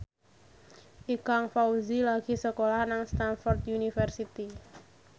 Ikang Fawzi lagi sekolah nang Stamford University